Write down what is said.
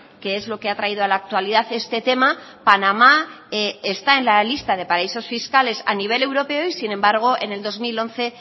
que es lo que ha traído a la actualidad este tema panamá está en la lista de paraísos fiscales a nivel europeo y sin embargo en el dos mil once